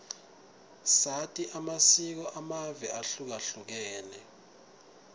sati amasiko amave ahlukahlukene